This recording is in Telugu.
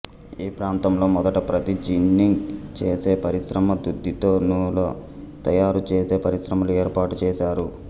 ఈ ప్రాంతంలో మొదట ప్రత్తి జిన్నింగ్ చేసే పరిశ్రమ దూదితో నూలు తయారుచేసే పరిశ్రమలు ఏర్పాటు చేశారు